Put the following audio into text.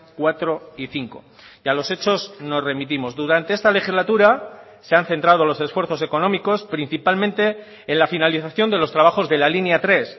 cuatro y cinco y a los hechos nos remitimos durante esta legislatura se han centrado los esfuerzos económicos principalmente en la finalización de los trabajos de la línea tres